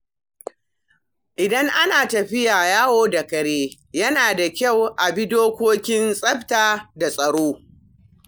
Idan ana tafiya yawo da kare, yana da kyau a bi dokokin tsafta da tsaro.